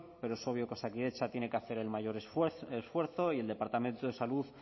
pero es obvio que osakidetza tiene que hacer el mayor esfuerzo y el departamento de salud